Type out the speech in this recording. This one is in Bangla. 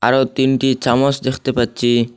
আরও তিনটি চামচ দেখতে পাচ্ছি।